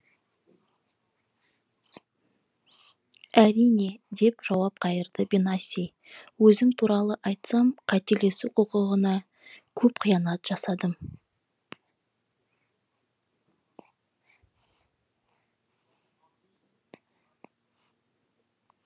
әрине деп жауап қайырды бенаси өзім туралы айтсам қателесу құқығына көп қиянат жасадым